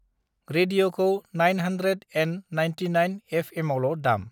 रेडिअखौ nine hundred and ninety nine एफएमावल' दाम।